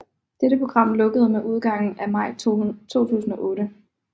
Dette program lukkede med udgangen af maj 2008